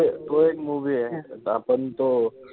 तो एक movie ए. आपण तो,